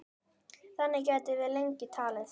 Þannig gætum við lengi talið.